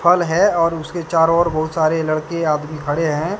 फल है और उसके चारों ओर बहुत सारे लड़के आदमी खड़े हैं।